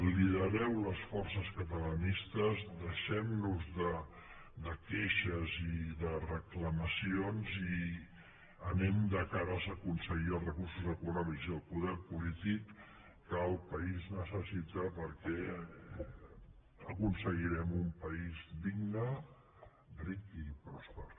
lidereu les forces catalanistes deixem nos de queixes i de reclamacions i anem de cares a aconseguir els recursos econòmics i el poder polític que el país necessita perquè aconseguirem un país digne ric i pròsper